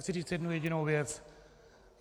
Chci říci jednu jedinou věc.